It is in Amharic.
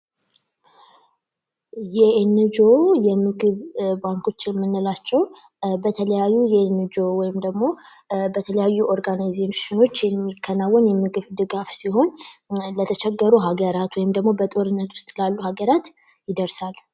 የኢነጅኦ ባንኮች የምንላቸው በተለያዩ የኢነጅኦ ወይም ደግሞ በተለያዩ ኦርጋናይዜሽኖች የሚከናወን የምግብ ድጋፍ ሲሆን ለተቸገሩ ሀገራት ወይም ደግሞ በጦርነት ውስጥ ላሉ ሀገራት ይደርሳል።